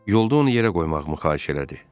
Yolda onu yerə qoymağımı xahiş elədi.